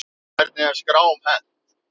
Hvernig er skrám hent?